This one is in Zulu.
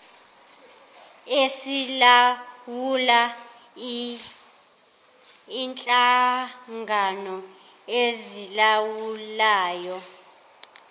esilawula inhlangano ezilawulayo